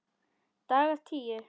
Dagar tíu